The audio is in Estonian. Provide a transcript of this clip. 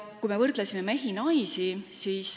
Me võrdlesime mehi ja naisi.